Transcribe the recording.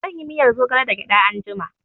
I will make moringa soup with groundnut